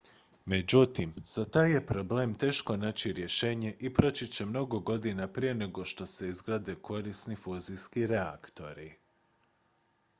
međutim za taj je problem teško naći rješenje i proći će mnogo godina prije nego što se izgrade korisni fuzijski reaktori